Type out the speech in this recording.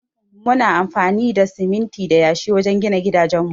Muna amfani da siminti da yashi wajen gina gidajen mu.